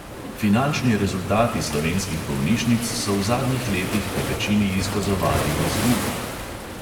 Finančni rezultati slovenskih bolnišnic so v zadnjih letih povečini izkazovali izgubo.